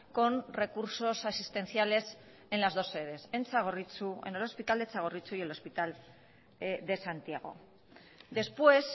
con recursos asistenciales en las dos sedes en el hospital de txagorritxu y el hospital de santiago después